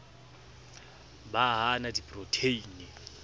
ba ha a na diprotheine